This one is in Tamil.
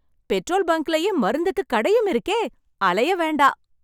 பெட்ரோல் பங்க்லேயே மருந்துக்கு கடையும் இருக்கே! அலைய வேண்டாம்!